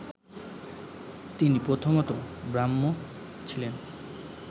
তিনি প্রথমতঃ ব্রাহ্ম ছিলেন